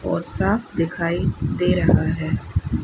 और साफ दिखाई दे रहा है।